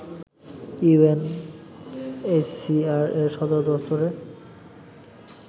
UNHCR এর সদরদপ্তরে